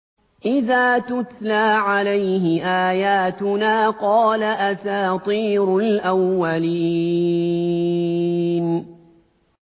إِذَا تُتْلَىٰ عَلَيْهِ آيَاتُنَا قَالَ أَسَاطِيرُ الْأَوَّلِينَ